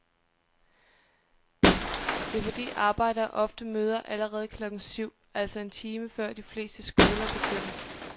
Det er fordi arbejdere ofte møder allerede klokken syv, altså en time før de fleste skoler begynder.